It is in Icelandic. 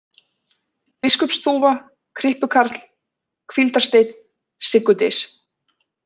Biskupsþúfa, Kryppukarl, Hvíldarsteinn, Siggudys